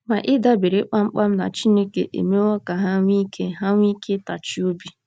Ma ịdabere kpam kpam na Chineke emewo ka ha nwee ike ha nwee ike ịtachi obi.